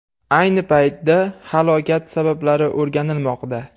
Ayni paytda halokat sabablari o‘rganilmoqda.